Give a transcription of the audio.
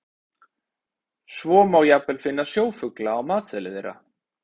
Svo má jafnvel finna sjófugla á matseðli þeirra.